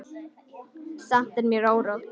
Samt er mér órótt.